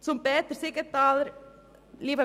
Zu Grossrat Siegenthaler: